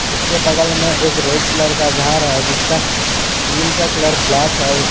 उसके बगल में एक रेड कलर का घर है जिसका ग्रिल का कलर ब्लैक है उसके--